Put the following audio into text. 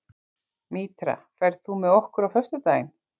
Mítra, ferð þú með okkur á föstudaginn?